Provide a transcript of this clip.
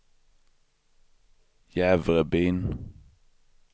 Jävrebyn